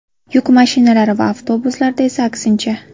Yuk mashinalari va avtobuslarda esa aksincha.